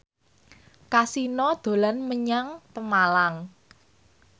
Kasino dolan menyang Pemalang